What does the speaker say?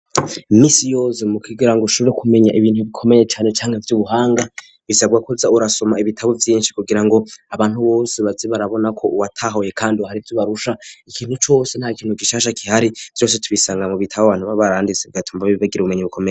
Imisi yose mu kugira ngo ushobore kumenya ibintu bikomeye cane cane vy'ubuhanga bisabwa ko uza urasoma ibitabo vyinshi kugira ngo abantu bose baze barabona ko watahuye kandi hari ivyo ubarusha ikintu cose nta kintu gishasha gihari vyose tubisanga mu bitabo abantu baba baranditse bigatuma bagira ubumenyi bukomeye.